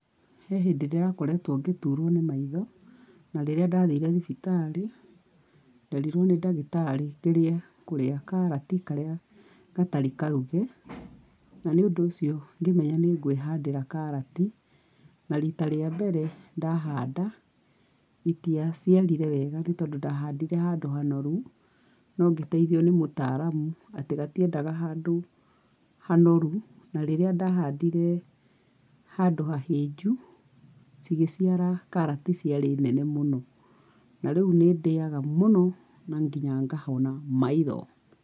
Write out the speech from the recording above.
He hindĩ ndĩkoretwo ngĩturwo nĩ maitho, na rĩrĩa ndathire thibitarĩ nderirwo nĩ ndagĩtarĩ ngerie kũrĩa karati karĩa gatarĩ karuge, na nĩũndũ ũcio ngĩmenya nĩ ngwĩhandĩra karati. Na rita rĩa mbere ndahanda, itiacirire wega nĩ tondũ ndahandire handũ hanoru, no ngĩteithio nĩ mũtaaramu atĩ gatiendaga handũ hanoru, na rĩrĩa ndahandire handũ hahĩnju, cigĩciara karati ciarĩ nene mũno. Na rĩu nĩ ndĩaga mũno na nginya ngahona maitho.